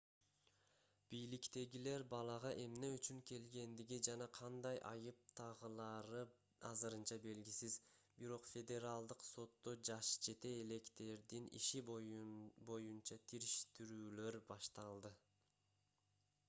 бийликтегилер балага эмне үчүн келгендиги жана кандай айып тагылары азырынча белгисиз бирок федералдык сотто жашы жете электердин иши боюна териштирүүлөр башталды